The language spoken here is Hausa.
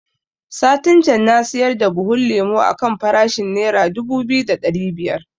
Satin can na siyar da buhun lemo a kan farashin nera dubu biyu da ɗari biyar